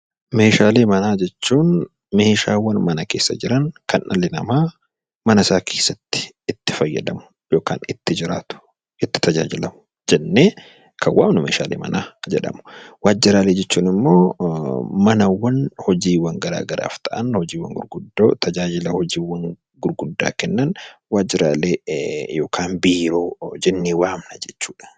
Meeshaalee manaa jechuun waantota mana keessa jiran, kan dhalli namaa mana keessatti itti fayyadamu yookaan itti jiraatu, itti tajaajilamu Meeshaalee manaa jedhamu. Waajiraalee jechuun immoo manaawwan hojii garaagaraaf ta'an tajaajila hojii gurguddoo kennan waajiraalee yookaan biiroo jennee waamna jechuudha.